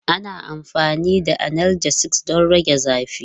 Ana amfani da analgesics don rage zafi.